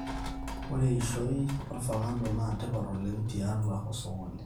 ore eishoi olfakado naa tipat oleng tiatua osokoni